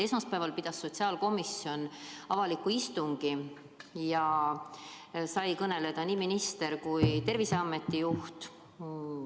Esmaspäeval pidas sotsiaalkomisjon avaliku istungi ja seal said kõneleda nii minister kui ka Terviseameti juht.